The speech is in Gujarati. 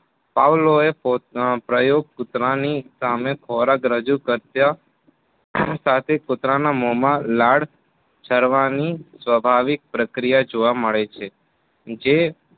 પાવલોએ પ્રયોગ કૂતરાની સામે ખોરાક રજુ કરતા સાથે કુતરાના મોમાં લાળ સરવાની સ્વાભાવિક પ્રક્રિયા જોવા મળે છે. જે